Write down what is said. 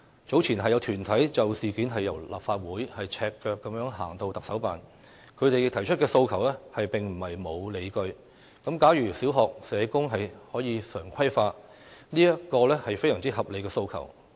早前，有團體就事件由立法會大樓赤腳遊行至行政長官辦公室，他們提出的訴求並非沒有理據，例如小學社工常規化便是一個非常合理的訴求。